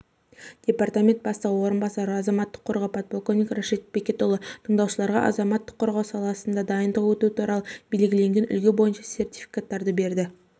департамент бастығы орынбасары азаматтық қорғау подполковник рашид бекетұлы блялов тындаушыларға азаматтық қорғау саласында дайындық өту туралы белгіленген үлгі бойынша сертификаттарды берді